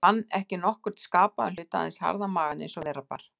Ég fann ekki nokkurn skapaðan hlut, aðeins harðan magann eins og vera bar.